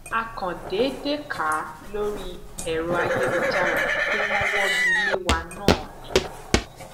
a kàn déédé kà á lórí èrò ayélujára pé wọn wọgi lé wa náà ni